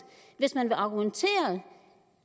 hvis man vil argumentere